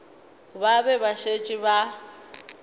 ba be ba šetše ba